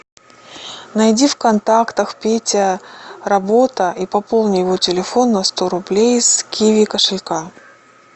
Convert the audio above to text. найди в контактах петя работа и пополни его телефон на сто рублей с киви кошелька